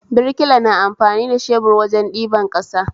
Birkila na amfani da shebur wajen ɗiban ƙasa